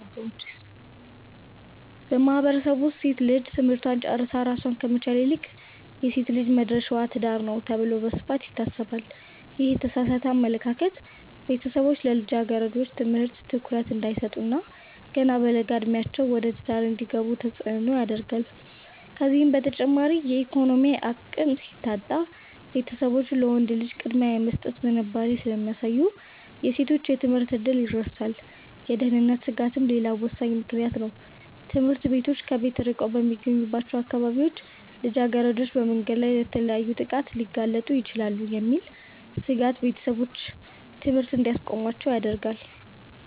በማህበረሰቡ ውስጥ ሴት ልጅ ትምህርቷን ጨርሳ ራሷን ከመቻል ይልቅ "የሴት ልጅ መድረሻዋ ትዳር ነው" ተብሎ በስፋት ይታሰባል። ይህ የተሳሳተ አመለካከት ቤተሰቦች ለልጃገረዶች ትምህርት ትኩረት እንዳይሰጡ እና ገና በለጋ ዕድሜያቸው ወደ ትዳር እንዲገቡ ተጽዕኖ ያደርጋል። ከዚህም በተጨማሪ የኢኮኖሚ አቅም ሲታጣ፣ ቤተሰቦች ለወንድ ልጅ ቅድሚያ የመስጠት ዝንባሌ ስለሚያሳዩ የሴቶች የትምህርት ዕድል ይረሳል። የደህንነት ስጋትም ሌላው ወሳኝ ምክንያት ነው፤ ትምህርት ቤቶች ከቤት ርቀው በሚገኙባቸው አካባቢዎች ልጃገረዶች በመንገድ ላይ ለተለያዩ ጥቃቶች ሊጋለጡ ይችላሉ የሚል ስጋት ቤተሰቦች ትምህርት እንዲያስቆሟቸው ያደርጋል።